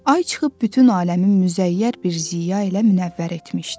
Ay çıxıb bütün aləmi müzəyyər bir ziya ilə münəvvər etmişdi.